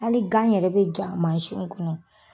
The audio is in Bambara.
Hali gan yɛrɛ be ja mansiw kɔnɔ.